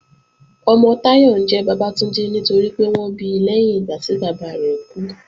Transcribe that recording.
Ọmọ Táyọ̀ ńjẹ́ Bàbátúndé nítorípé wọ́n bi lẹ́yìn ìgbà tí bàbá rẹ̀ kú